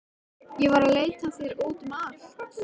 Ég var að leita að þér út um allt.